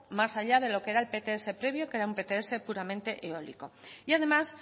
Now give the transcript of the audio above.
más allá de lo que era el pts previo que era un pts puramente eólico y además